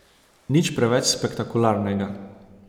Nič preveč spektakularnega.